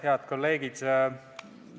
Head kolleegid!